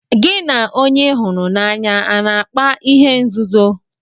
Gị na onye ị hụrụ n'anya a na-akpa ihe nzuzo?